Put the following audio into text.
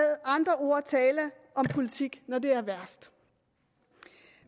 ord tale om politik når det er værst